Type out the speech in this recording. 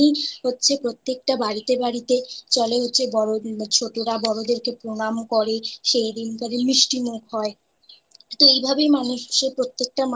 হচ্ছে প্রত্যেকটা বাড়িতে বাড়িতে চলে হচ্ছে ছোটরা বড়দের কে প্রণাম করে সেই দিন কারে মিষ্টি মুখ হয় তো এই ভাবেই প্রত্যেকটা